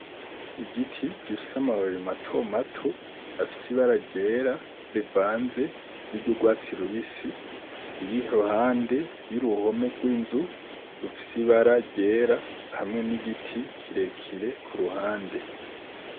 Igiti gifise amababi mato mato, afise ibara ryera rivanze, n'iryo urwatsi rubisi, iri iruhande y'uruhome rw'inzu rufise ibara ryera, hamwe n'igiti kirekire ku ruhande.